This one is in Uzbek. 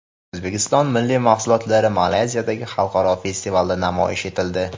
O‘zbekiston milliy mahsulotlari Malayziyadagi xalqaro festivalda namoyish etildi.